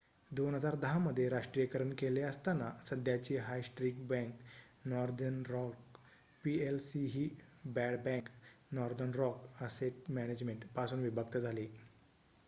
2010 मध्ये राष्ट्रीयकरण केले असताना सध्याची high street bank Northern Rock PLC ही ‘bad bank’ Northern Rock asset management पासून विभक्त झाली